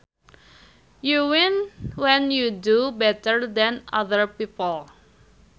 You win when you do better than other people